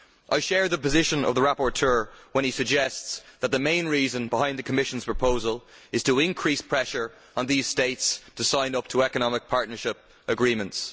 I share the position of the rapporteur when he suggests that the main reason behind the Commission's proposal is to increase pressure on these states to sign up to economic partnership agreements.